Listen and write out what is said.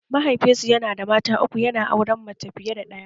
Mahaifinsa yana da mata uku yana auren mace fiye da ɗaya